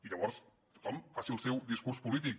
i llavors que tothom faci el seu discurs polític